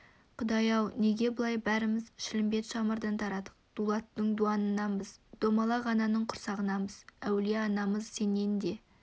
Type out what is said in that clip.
құдай-ау неге бұлай бәріміз шілмембет шымырдан тарадық дулаттың дуанынанбыз домалақ ананың құрсағынанбыз әулие анамыз сенен де